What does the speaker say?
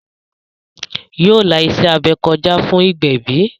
Yóò la iṣẹ́-abẹ kọjá fún ìgbẹ̀bí